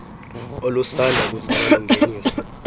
olusanda kuzalwa lungeniswa